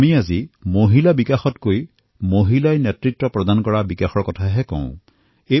আজি আমি মহিলা বিকাশৰ পৰা আগবাঢ়ি মহিলাৰ নেতৃত্বৰ বিকাশ সম্পৰ্কে কথা কৈ আছোঁ